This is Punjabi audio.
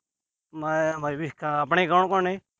ਮੈਂ ਆਪਣੇ ਕੌਣ-ਕੌਣ ਨੇ।